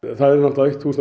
það